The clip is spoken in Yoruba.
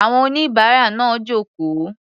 Àwọn oníbàárà náà jókòó.